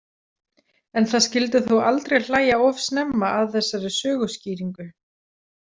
En það skyldi þó aldrei hlæja of snemma að þessari söguskýringu.